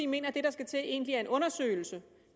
mener at det der skal til egentlig er en undersøgelse